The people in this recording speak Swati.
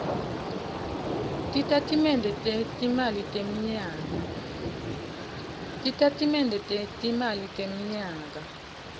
titatimende tetimali temnyaka